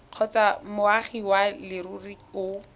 kgotsa moagi wa leruri o